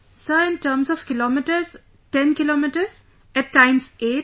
Sir in terms of kilometres 10 kilometres; at times 8